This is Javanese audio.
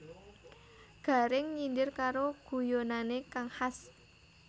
Gareng nyindir karo guyonane kang khas